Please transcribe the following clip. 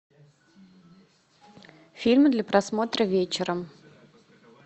фильмы для просмотра вечером